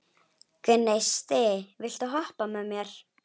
Gneisti, viltu hoppa með mér?